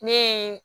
Ne ye